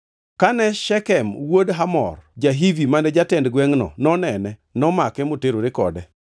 Kane Shekem wuod Hamor ja-Hivi ma jatend gwengʼno, nonene, nomake moterore kode.